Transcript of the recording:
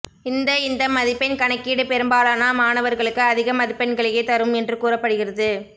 இந்த இந்த மதிப்பெண் கணக்கீடு பெரும்பாலான மாணவர்களுக்கு அதிக மதிப்பெண்களையே தரும் என்று கூறப்படுகிறது